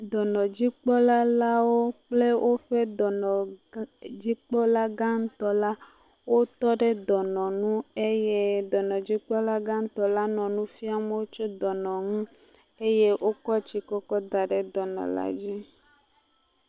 Dɔnɔdzikpɔlalawo kple woƒe dɔnɔgã, dzikpɔlagã ŋutɔ la wotɔ ɖe dɔnɔ nu eye dɔnɔdzikpɔlagã ŋutɔ nɔ nu fiam wo tso dɔnɔ ŋu eye wokɔ tsi kɔkɔ da ɖe dɔnɔla dzi.